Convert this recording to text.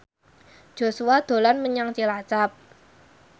Joshua dolan menyang Cilacap